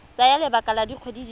tsaya lebaka la dikgwedi di